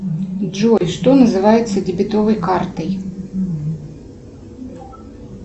джой что называется дебетовой картой